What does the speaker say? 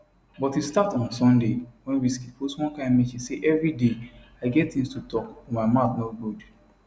but e start on sunday wen wizkid post one kain message say evri day i get tins to tok but my mouth no good